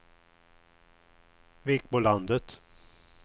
Vikbolandet